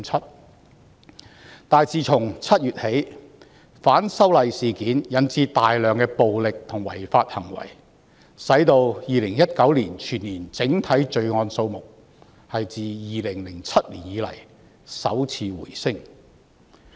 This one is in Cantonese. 然而，自7月起，反修例事件引致大量暴力和違法行為，令2019年全年整體罪案數目自2007年以來首次回升。